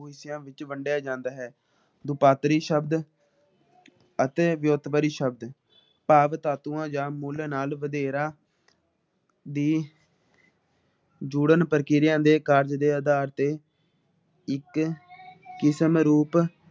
ਅਤੇ ਸ਼ਬਦ ਤਾਤੂਆ ਜਾ ਮੁੱਲ ਨਾ ਬਥੇਰਾ ਵੀ ਜੁੜਣ ਪ੍ਰਕਿਰਿਆ ਦੇ ਕਾਰਨ ਦੇ ਅਧਾਰ ਤੇ ਇੱਕ ਕਿਸਮ ਰੂਪ